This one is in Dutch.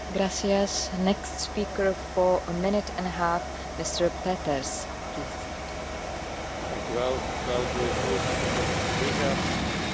Voorzitter, beste collega's, met de Europese Green Deal van vorige week is de meest ambitieuze Europese Commissie ooit van start gegaan.